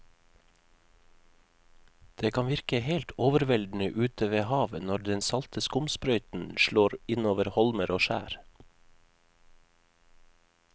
Det kan virke helt overveldende ute ved havet når den salte skumsprøyten slår innover holmer og skjær.